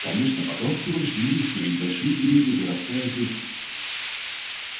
конечно пока он всего лишь юрист но ведь большие деревья вырастают из